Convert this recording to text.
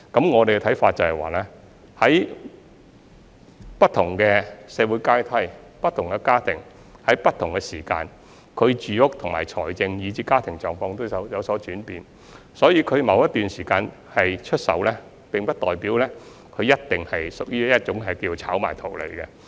我們認為，在不同的社會階梯，不同的家庭在不同時間，他們的住屋、財政，以至家庭狀況都會有所轉變，所以他們在某段時間出售單位，並不代表一定屬於炒賣圖利。